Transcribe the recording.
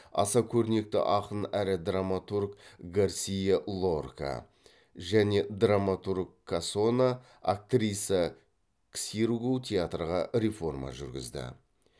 аса көрнекті ақын әрі драматург гарсиа лорка және драматург касона актриса ксиргу театрға реформа жүргізді